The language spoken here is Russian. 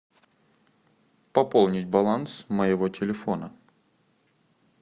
пополнить баланс моего телефона